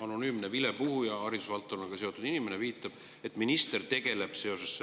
Anonüümne vilepuhuja, haridusvaldkonnaga seotud inimene, viitab, et minister tegeleb seoses